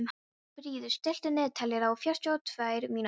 Fríður, stilltu niðurteljara á fjörutíu og tvær mínútur.